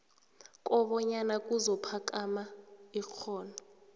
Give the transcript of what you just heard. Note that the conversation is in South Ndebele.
kobanyana kuzokuphakama ikghono